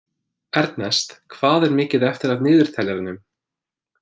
Ernest, hvað er mikið eftir af niðurteljaranum?